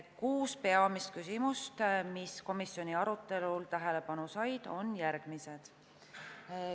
Kuus peamist küsimust, mis komisjoni arutelul tähelepanu said, olid järgmised.